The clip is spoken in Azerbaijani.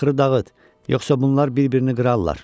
Naxırı dağıt, yoxsa bunlar bir-birini qırarlar!